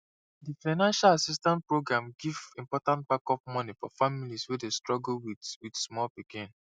di financial assistance program give important backup money for families wey dey struggle with with small pikin